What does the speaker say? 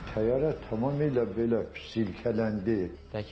Təyyarə tamamilə belə silkələndi.